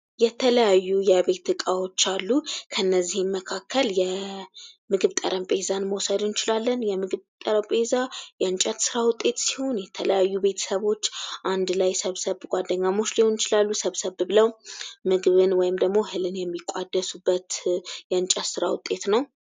የተለያዩ የቤት ዕቃዎች አሉ። ከእነዚህም መካከል እንደ ምግብ ጠረጴዛ መውሰድ እንችላለን። የምግብ ጠረጴዛ የእንጨት ሥራ ውጤት ሲሆን፤ የተለያዩ ቤተሰቦች አንድ ላይ ሰብሰብ ብለው ጓደኛሞች ሊሆኑ ይችላሉ ሰብሰብ ብለው ምግብን ወይም ደግሞ እህልን የሚቋደሱበት የእንጨት ሥራ ውጤት ነው።